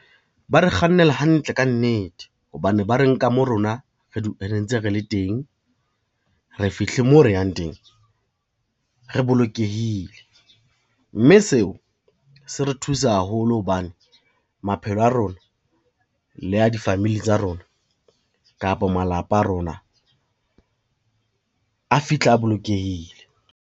Ba re kgannela hantle ka nnete hobane ba re nka mo rona re ntse re le teng, re fihle moo re yang teng re bolokehile, mme seo se re thusa haholo hobane, maphelo a rona le a difamili tsa rona kapa malapa a rona a fihla a bolokehile.